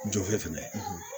Jofɛ fɛnɛ